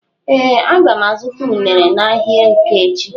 Ee aga m azụta unere n'ahia eke echi.